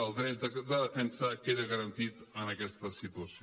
el dret de defensa queda garantit en aquesta situació